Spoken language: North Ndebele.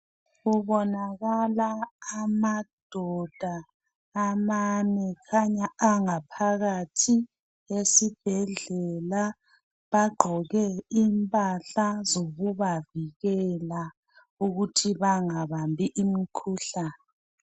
Kubonakala amadoda amane angaphakathi esibhedlela bagqoke impahla zokubavikela ukuthi bangabambi imikhuhlane.